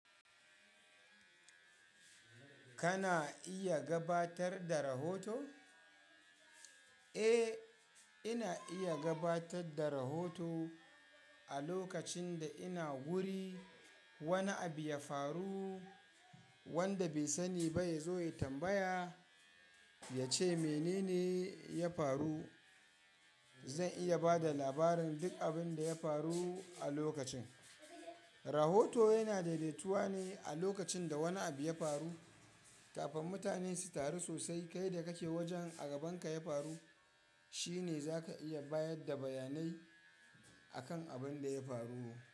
Kana iya gabatar da rahoto? Eh, ina iya gabatar da rahoto. A lokacin da ina guri wani abu ya faru wanda bai sani ba ya zo ya tambaya, ya ce mene ne ya faru, zan iya ba da labarin duk abin da ya faru a lokacin. Rahoto yana daidaituwa ne a lokacin da wani abu ya faru kafin mutane su taru sosai. Kai da kake wajen a gabanka ya faru shi ne za ka iya bayar da bayanai a kan abin da ya faru.